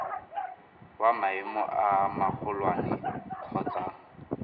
wa maemo a magolwane kgotsa